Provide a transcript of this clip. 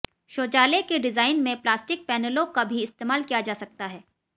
शौचालय के डिजाइन में प्लास्टिक पैनलों का भी इस्तेमाल किया जा सकता है